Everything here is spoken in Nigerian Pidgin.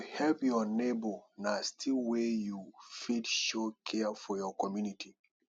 to help your neighbor na still way you fit show care for your community